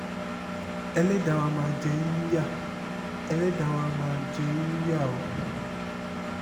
ẹlẹ́dàá wa máa jẹ yín níyà ẹlẹ́dàá wa máa jẹ yín níyà o